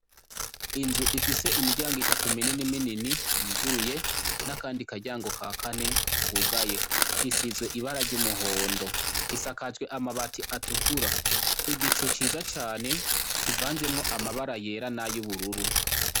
Inzu ifise imiryango itatu minini minni yuruguruye n' akandi karyango ka kane kugaye isizwe ibara ry' umuhondo isakajwe amabati atukura igicu ciza cane kivanzemwo amabara yera n' ayubururu.